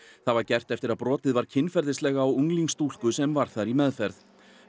það var gert eftir að brotið var kynferðislega á unglingsstúlku sem var þar í meðferð